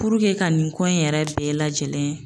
puruke ka nin ko in yɛrɛ bɛɛ lajɛlen